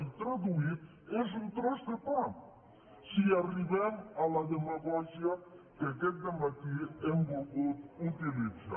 i traduït és un tros de pa si arribem a la demagògia que aquest dematí hem volgut utilitzar